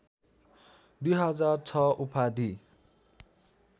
२००६ उपाधि